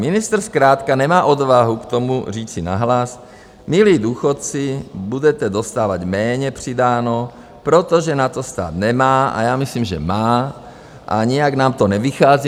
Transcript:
Ministr zkrátka nemá odvahu k tomu říci nahlas - milí důchodci, budete dostávat méně přidáno, protože na to stát nemá - a já myslím, že má - a nijak nám to nevychází.